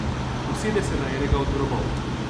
Usede se na enega od grobov.